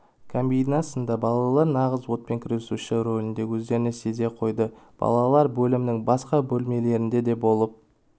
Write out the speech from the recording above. кабинасында балалар нағыз отпен күресуші ролінде өздерін сезе қойды балалар бөлімнің басқа бөлмелерінде де болып